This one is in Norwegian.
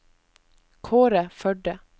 Kaare Førde